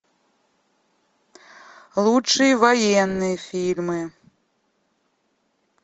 лучшие военные фильмы